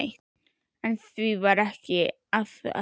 En því var ekki að heilsa.